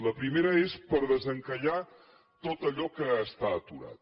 la primera és per desencallar tot allò que està aturat